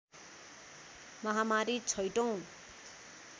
महामारी छैठौं